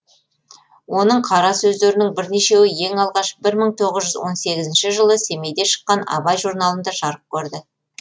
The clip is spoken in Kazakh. оның қара сөздерінің бірнешеуі ең алғаш бір мың тоғыз жүз он сегізінші жылы семейде шыққан абай журналында жарық көрді